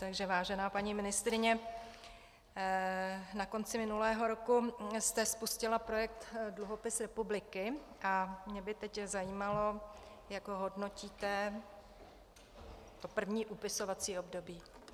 Takže vážená paní ministryně, na konci minulého roku jste spustila projekt dluhopis republiky a mě by teď zajímalo, jak ho hodnotíte - to první upisovací období.